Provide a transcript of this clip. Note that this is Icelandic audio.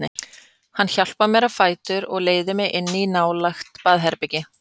Hann hjálpar mér á fætur og leiðir mig inn í nálægt baðherbergi.